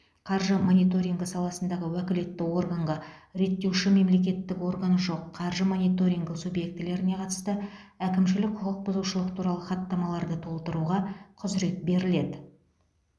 қаржы мониторингі саласындағы уәкілетті органға реттеуші мемлекеттік органы жоқ қаржы мониторингі субъектілеріне қатысты әкімшілік құқық бұзушылық туралы хаттамаларды толтыруға құзырет беріледі